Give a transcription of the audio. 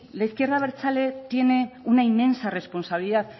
la izquierda abertzale tiene una inmensa responsabilidad